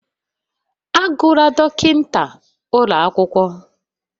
Agụla dọkịta ụlọ akwụkwọ